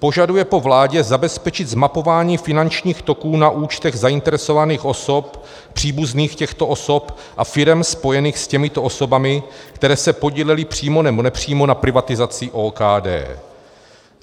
Požaduje po vládě zabezpečit zmapování finančních toků na účtech zainteresovaných osob, příbuzných těchto osob a firem spojených s těmito osobami, které se podílely přímo nebo nepřímo na privatizaci OKD.